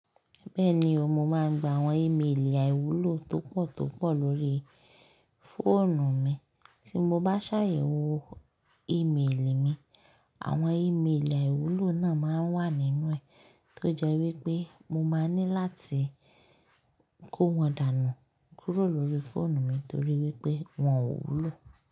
Bẹ́ẹ̀ni o, mo máa ń gba àwọn ìméèlì àìwúlò tó pọ̀ tó pọ̀ lórí fóònù mi. Tí mo bá ṣàyẹ̀wò ìméèlì mi, àwọn ìméèlì àìwúlò náà máa ń wà nínú ẹ̀ tó jẹ́ wípé mo máa ní láti kó wọn dànù kúrò lórí fóònù mi torí wípé wọn ò wúlò.